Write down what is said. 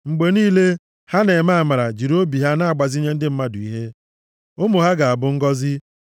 Mgbe niile, ha na-eme amara jiri obi ha na-agbazinye ndị mmadụ ihe, ụmụ ha ga-abụ ngọzị.